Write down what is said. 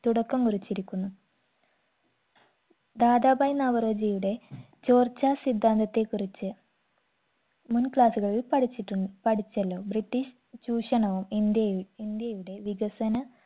തുടക്കം കുറിച്ചിരിക്കുന്നു ദാദാഭായ് നവറോജിയുടെ ചോർച്ചാ സിദ്ധാന്തത്തെ കുറിച്ച് മുൻ class കളിൽ പഠിച്ചിട്ടുണ് പഠിച്ചല്ലോ british ചൂഷണവും ഇന്ത്യയു ഇന്ത്യയുടെ വികസന